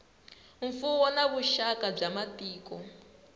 mfuwo na vuxaka bya matiko